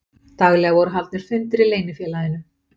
Daglega voru haldnir fundir í leynifélaginu